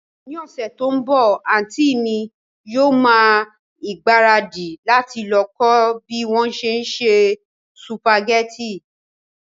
Ní ọ̀sẹ̀ tí ó ń bọ̀, àntí mi yóò ma ìgbáradì láti lọ kọ́ bí wón se ń se sùpàgẹ́tì